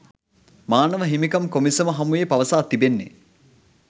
මානව හිමිකම් කොමිසම හමුවේ පවසා තිබෙන්නේ